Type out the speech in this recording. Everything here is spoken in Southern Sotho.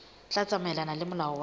tla tsamaelana le molao wa